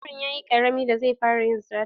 Yaron yayi ƙarami da zai fara yin sata.